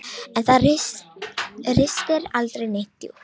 En það ristir aldrei neitt djúpt.